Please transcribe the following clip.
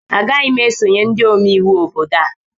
Agaghị m esonyere ndị omeiwu obodo a